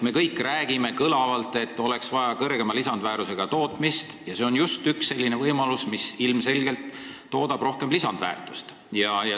Me kõik ju räägime kõlavalt, et oleks vaja kõrgema lisandväärtusega tootmist, ja see on ilmselgelt üks võimalus rohkem lisandväärtust toota.